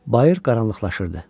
Bayır qaranlıqlaşırdı.